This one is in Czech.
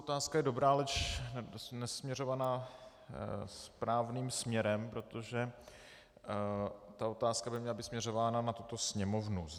Otázka je dobrá, leč nesměřovaná správným směrem, protože ta otázka by měla být směřována na tuto sněmovnu.